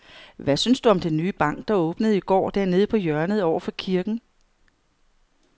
Hvad synes du om den nye bank, der åbnede i går dernede på hjørnet over for kirken?